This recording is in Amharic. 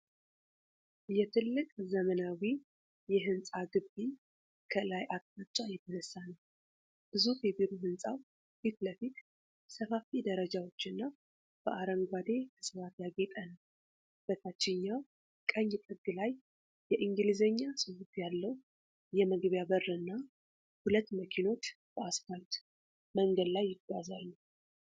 የትልቅ ዘመናዊ የሕንፃ ግቢ ከላይ አቅጣጫ የተነሳ ነው። ግዙፍ የቢሮ ሕንፃው ፊት ለፊት ሰፋፊ ደረጃዎችና በአረንጓዴ ዕፅዋት ያጌጠ ነው። በታችኛው ቀኝ ጥግ ላይ የእንግሊዝኛ ጽሑፍ ያለው የመግቢያ በር እና ሁለት መኪኖች በአስፋልት መንገድ ላይ ይጓዛሉ።